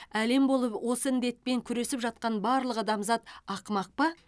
әлем болып осы індетпен күресіп жатқан барлық адамзат ақымақ па